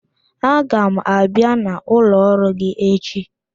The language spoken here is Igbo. Aga m abịa n'ụlọ ọrụ gi echi